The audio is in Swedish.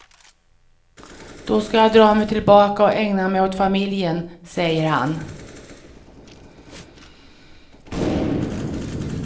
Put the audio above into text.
Då ska jag dra mig tillbaka och ägna mig åt familjen, säger han.